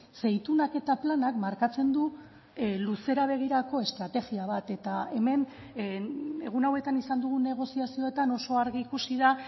ze itunak eta planak markatzen du luzera begirako estrategia bat eta hemen egun hauetan izan dugun negoziazioetan oso argi ikusi da